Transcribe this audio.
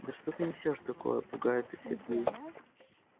да что ты несёшь такое пугается сергей